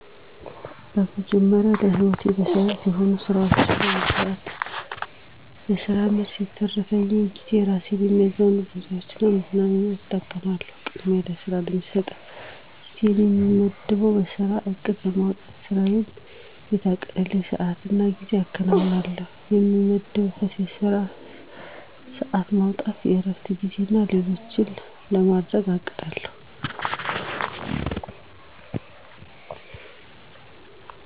በመጀመሪያ ለሕይወቴ መሠረት የሆኑ ስራዎችን በመስራት ከስራ መልስ የተረፈኝን ጊዜ እራሴን የሚያዝናኑ ቦታዎች እና መዝናኛዎች እጠቀማለሁ። ቅድሚያ ለስራ ነው የምሰጠው። ጊዜየን የምመድበው የስራ እቅድ በማውጣት ስራየን በታቀደበት ሰዓትና ጊዜ አከናውናለሁ። የምመድበውም የስራ ሰዓት ማውጣት፣ የእረፍት ጊዜና ሌሎችም በማድረግ አቅዳለሁ።